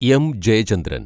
M. Jayachandran‍